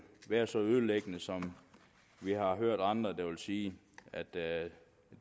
være så ødelæggende som vi har hørt andre sige at det